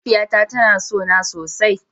Mahaifiyata tana son na sosai.